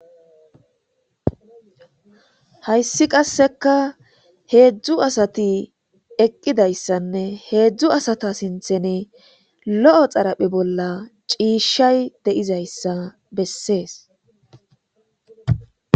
hayssi qasseka heedzdzu asati eqqidayssanne heedzdzu asata sinthene lo7o xaraphe bolla ciishay de7izayssa bessees